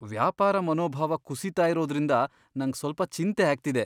ವ್ಯಾಪಾರ ಮನೋಭಾವ ಕುಸೀತ ಇರೋದ್ರಿಂದ ನಂಗ್ ಸ್ವಲ್ಪ ಚಿಂತೆ ಆಗ್ತಿದೆ.